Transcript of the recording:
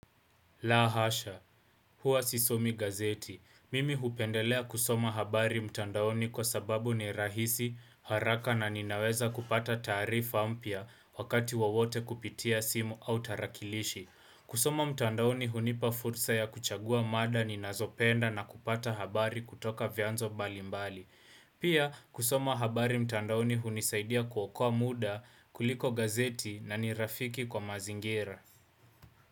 Lahasha, huwa sisomi gazeti. Mimi hupendelea kusoma habari mtandaoni kwa sababu ni rahisi, haraka na ninaweza kupata taarifa mpya wakati wowote kupitia simu au tarakilishi. Kusoma mtandaoni hunipa fursa ya kuchagua mada ni nazopenda na kupata habari kutoka vianzo mbalimbali. Pia kusoma habari mtandaoni hunisaidia kuokoa muda kuliko gazeti na nirafiki kwa mazingira.